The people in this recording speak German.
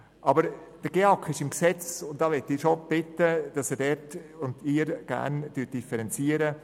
Aber der GEAK ist im Gesetz, und ich möchte Sie schon bitten, dort zu differenzieren.